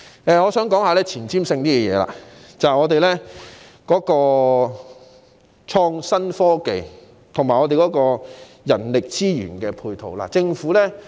我現在想討論前瞻性的議題，便是本港的創新科技及人力資源配套。